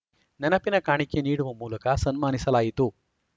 ನೆನಪಿನ ಕಾಣಿಕೆ ನೀಡುವ ಮೂಲಕ ಸನ್ಮಾನಿಸಲಾಯಿತು